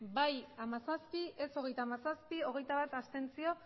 bai hamazazpi ez hogeita hamazazpi abstentzioak